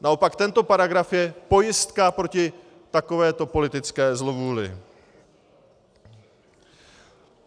Naopak tento paragraf je pojistka proti takovéto politické zlovůli.